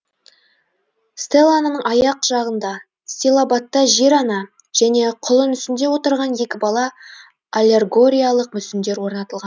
стеланың аяқ жағында стилобатта жер ана және құлын үстінде отырған екі бала аллегориялық мүсіндер орнатылған